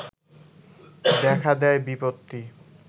দেখা দেয় বিপত্তি